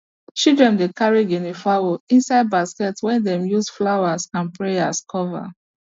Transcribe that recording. children dey carry guinea fowls inside basket wey them use flowers and prayers cover